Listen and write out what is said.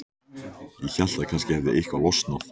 Ég hélt að kannski hefði eitthvað losnað.